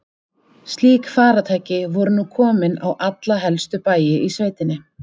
Slík farartæki voru nú komin á alla helstu bæi í sveitinni.